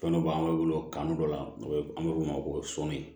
Fɛn dɔ b'an bolo kan dɔ la an be f'o ma ko soni